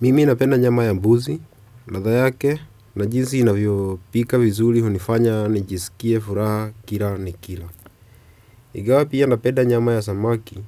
Mimi napenda nyama ya mbuzi, ladha yake, na jinsi inavyo pika vizuri hunifanya nijisikie furaha kila nikila. Ingawa pia napenda nyama ya samaki,